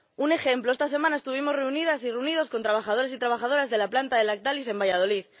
Un ejemplo esta semana estuvimos reunidas y reunidos con trabajadores y trabajadoras de la planta de Lactalis en Valladolid.